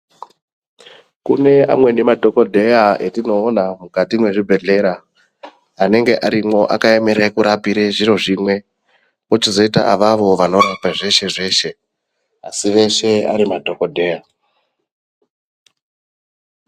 Kune amweni madhokodheya atinoona mukati mezvibhedhlera anenge arimwo anenge akaemera kurapa zviro zvimwe kochizoita avavo vanorapa zveshe-zveshe asi veshe Ari madhokodheya.